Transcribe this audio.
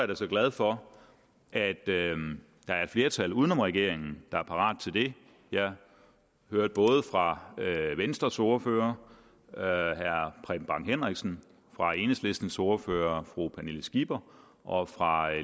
da glad for at der er et flertal uden om regeringen der er parat til det jeg hørte både fra venstres ordfører herre preben bang henriksen fra enhedslistens ordfører fru pernille skipper og fra